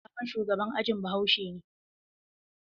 Sabon shugaban ajin bahaushe ne.